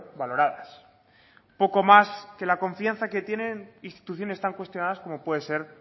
valoradas poco más que la confianza que tienen instituciones tan cuestionadas como puede ser